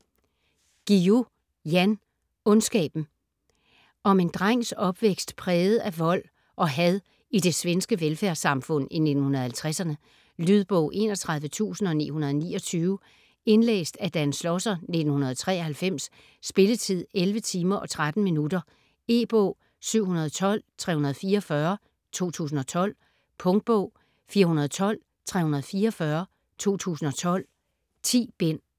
Guillou, Jan: Ondskaben Om en drengs opvækst præget af vold og had i det svenske velfærdssamfund i 1950'erne. Lydbog 31929 Indlæst af Dan Schlosser, 1993. Spilletid: 11 timer, 13 minutter. E-bog 712344 2012. Punktbog 412344 2012. 10 bind.